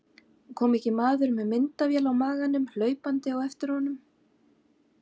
Kom ekki maður með myndavél á maganum hlaupandi á eftir honum.